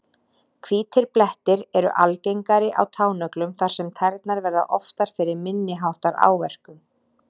Hvítir blettir eru algengari á tánöglum þar sem tærnar verða oftar fyrir minni háttar áverkum.